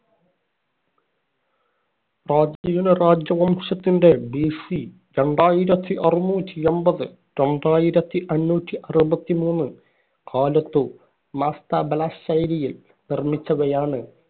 പ്രാചീന രാജവംശത്തിന്‍റ BC രണ്ടായിരത്തി അറുനൂറ്റി എമ്പത്‌ - രണ്ടായിരത്തി അഞ്ഞൂറ്റി അറുപത്തിമൂന്ന് കാലത്തു മാസ്തബ ശൈലിയിൽ നിർമിച്ചവയാണ്